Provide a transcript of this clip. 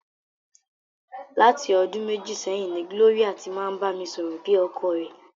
Láti ọdún méjì sẹ́yìn ni Glory ti máa ń bá mi sọ̀rọ̀ bí ọkọ rẹ̀.